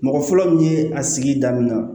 Mɔgɔ fɔlɔ min ye a sigi daminɛ na